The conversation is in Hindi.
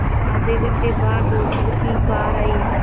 आधे घंटे बाद डॉक्टर की कार आई